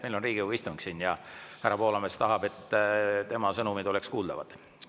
Meil on Riigikogu istung siin ja härra Poolamets tahab, et tema sõnumid oleks kuuldavad.